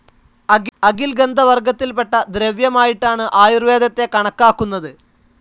അകിൽ ഗന്ധവർഗ്ഗത്തിൽപെട്ട ദ്രവ്യമായിട്ടാണ് ആയുർവേദത്തെ കണക്കാക്കുന്നത്.